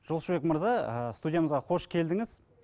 жолшыбек мырза ыыы студиямызға қош келдіңіз